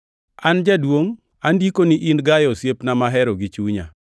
An Jaduongʼ, Andikoni in Gayo osiepna mahero gi chunya.